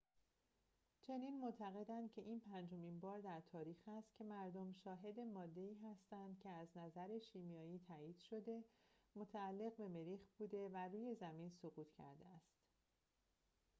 چنین معتقدند که این پنجمین بار در تاریخ است که مردم شاهد ماده‌ای هستند که از نظر شیمیایی تایید شده متعلق به مریخ بوده و روی زمین سقوط کرده است